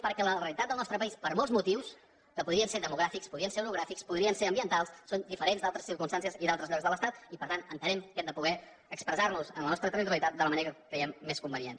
perquè la realitat del nostre país per molts motius que podrien ser demogràfics podrien ser orogràfics podrien ser ambientals són diferents d’altres circumstàncies i d’altres llocs de l’estat i per tant entenem que hem de poder expressar nos en la nostra territorialitat de la manera que creiem més convenient